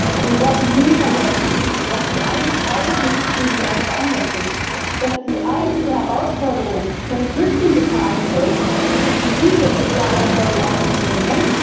Aber wir sollten nie vergessen, dass die eigentlichen Krisen ganz woanders sind, dass die eigentliche Herausforderung von den Flüchtlingen getragen wird, die diese Herausforderung auf sich nehmen.